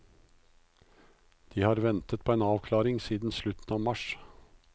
De har ventet på en avklaring siden slutten av mars.